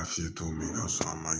A fiyɛ cogo min na a man ɲi